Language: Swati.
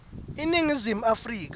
iningizimu afrika